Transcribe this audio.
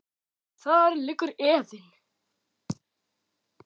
En þar liggur efinn.